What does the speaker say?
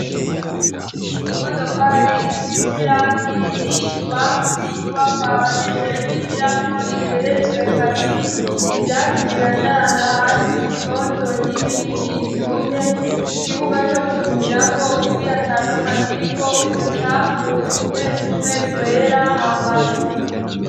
Imodokari isize irangi iri i bubamfu y'inyubakwa abanyeshure bigiramwo igeretswe kabiri; ivyatsi birandaranda hasi bitoto n'ibindi vyumye; Ikibuga co gukinirako umupira ata n' umwe akiriko; Uducafu tumwe tumwe twera hambavu.